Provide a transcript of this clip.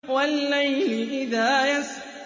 وَاللَّيْلِ إِذَا يَسْرِ